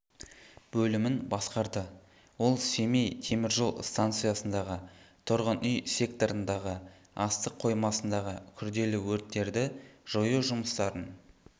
бөлімін басқарды ол семей темір жол станциясындағы тұрғын-үй секторындағы астық қоймасындағы күрделі өрттерді жою жұмыстарын